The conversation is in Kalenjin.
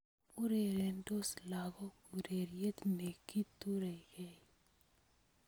Urerendos lakok ureriet ne kiturekei